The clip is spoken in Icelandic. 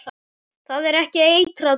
Það er ekki eitrað peð?